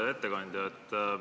Hea ettekandja!